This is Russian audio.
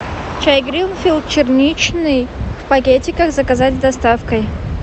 чай гринфилд черничный в пакетиках заказать с доставкой